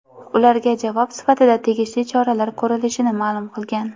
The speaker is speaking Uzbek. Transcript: ularga javob sifatida tegishli choralar ko‘rilishini ma’lum qilgan.